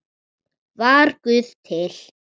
Var Guð til?